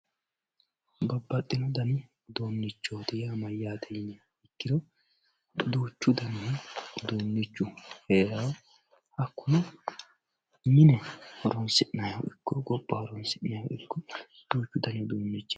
Babaxino dani udunichoti yinemori duuchu dani udunichi herawo hakuno mine horonsinayiha iki gobba iko duuchu dani udunichi.